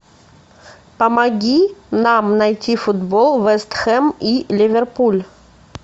помоги нам найти футбол вест хэм и ливерпуль